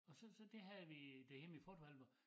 Og så så det havde vi derhjemme i photoalbum